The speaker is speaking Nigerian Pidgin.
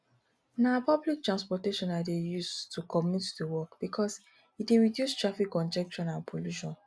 na public transportation i dey use to commute to work because e dey reduce traffic congestion and pollution